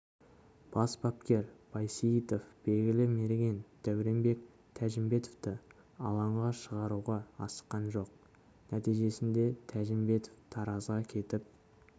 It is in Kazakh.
бас бапкер байсейітов белгілі мерген дәуренбек тәжімбетовты алаңға шығаруға асыққан жоқ нәтижесінде тәжімбетов таразға кетіп